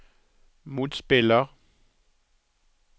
motspiller